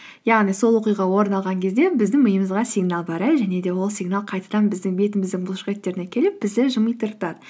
яғни сол оқиға орын алған кезде біздің миымызға сигнал барады және де ол сигнал қайтадан біздің бетіміздің бұлшықеттеріне келіп бізді